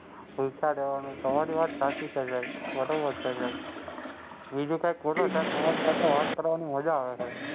જવાનું તમે વાત છે, બરોબર છે હેં. બીજું કઈ ખોટું નથી. તમારી સાથે વાત કરવામાં મજા આવે છે.